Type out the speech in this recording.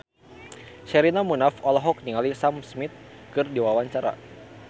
Sherina Munaf olohok ningali Sam Smith keur diwawancara